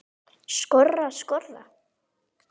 Skora, skora?